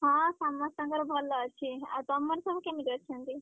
ହଁ ସମସ୍ତଙ୍କର ଭଲ ଅଛି। ଆଉ ତମର ସବୁ କେମିତି ଅଛନ୍ତି?